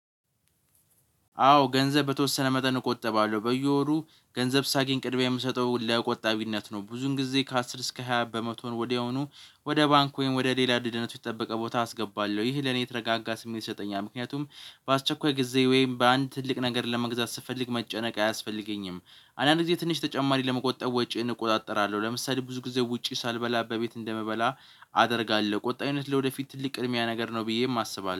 አዎ ገንዘብ በተወሰነ መጠን እቆጠባለሁ። በየወሩ ገንዘብ ሳገኝ ቅድሚያ የምሰጠው ለቆጣቢነት ነው ብዙውን ጊዜ ከአስር እስከ ሃያ በመቶውን ወዲያውኑ ወደ ባንኩ ወይም ወደ ሌላ ደህንነቱ የተጠበቀ ቦታ አስገባለሁ። ይህ ለኔ የተረጋጋ ስሜት ይሰጠኛል። ምክንያቱም በአስቸኳይ ጊዜ ወይም በአንድ ትልቅ ነገር ለመግዛት ስፈልግ መጨነቅ አያስፈልገኝም። አንዳንድ ጊዜ ትንሽ ተጨማሪ ለመቆጠብ ወጪዬን እቆጣጠራለሁ። ለምሳሌ ብዙ ጊዜ ውጪ ሳልበላ በቤት እንደምበላ አደርጋለሁ። ቁጠባ አይነት ለወደፊት ትልቅ ቅድሚያ ነገር ነው ብዬ የማስበው